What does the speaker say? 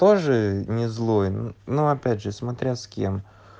тоже не злой но опять же смотря с кем